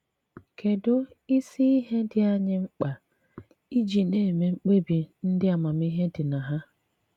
Kedụ isi ihe dị anyị mkpa iji na - eme mkpebi ndị amamihe dị na ha?